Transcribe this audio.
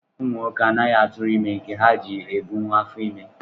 Ụmụ nwoke anaghịkwa atụrụ ime nke ha ji ebunwu afọ ime